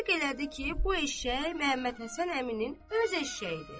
Təsdiq elədi ki, bu eşşək Məhəmmədhəsən əminin öz eşşəyidir.